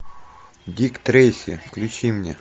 дик трейси включи мне